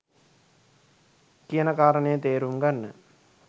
කියන කාරණය තේරුම් ගන්න